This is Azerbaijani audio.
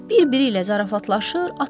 Bir-biri ilə zarafatlaşır.